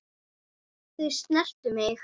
Þau snertu mig.